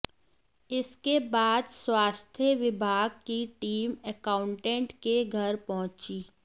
इसके बाद स्वास्थ्य विभाग की टीम एकाउंटेंट के घर पहुंची